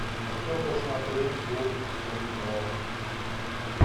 хочу посмотреть клуб каннибалов